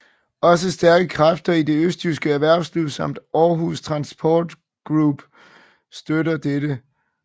Også stærke kræfter i det østjyske erhvervsliv samt Aarhus Transport Group støtter dette